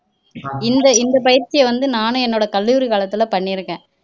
இந்த இந்த பயிற்சியை வந்து நானும் என்னோட கல்லூரி காலத்துல பண்ணி இருக்கேன்